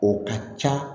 O ka ca